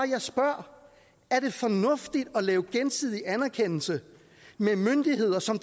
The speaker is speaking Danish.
jeg spørger er det fornuftigt at lave gensidig anerkendelse med myndigheder som